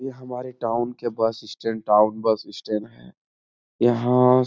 ये हमारे टाउन के bus stand town bus stand है। यहाँ --